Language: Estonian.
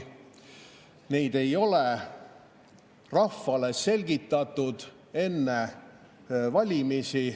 Neid ei ole rahvale selgitatud enne valimisi.